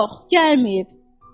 Yox, gəlməyib.